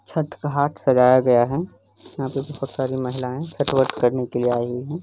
छठ का हाट सजाया गया है। यहाँ पे बहुत सारी महिलाएं छठ व्रत करने के लिए आई हुई हैं।